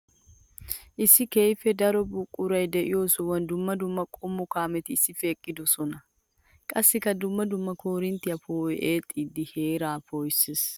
Issi keehippe daro buquray de'iyo sohuwan dumma dumma qommo kaametti issippe eqqiddosonna. Qassikka dumma dumma koorinttiya poo'oy eexxiddi heera poo'isees.